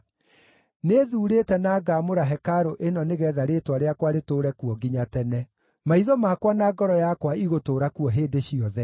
Nĩthuurĩte na ngaamũra hekarũ ĩno nĩgeetha Rĩĩtwa rĩakwa rĩtũũre kuo nginya tene. Maitho makwa na ngoro yakwa igũtũũra kuo hĩndĩ ciothe.